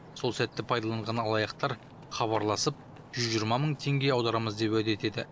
сол сәтті пайдаланған алаяқтар хабарласып жүз жиырма мың теңге аударамыз деп уәде етеді